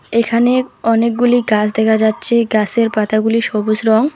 এখানে অনেকগুলি গাছ দেখা যাচ্ছে গাছের পাতাগুলি সবুজ রং।